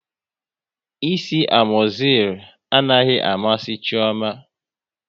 Ịsị amozil anaghị amasị Chioma